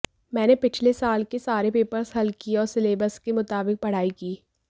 मैंने पिछले साल के सारे पेपर्स हल किए और सिलेबस के मुताबिक पढ़ाई की